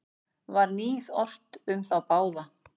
Var níð ort um þá báða.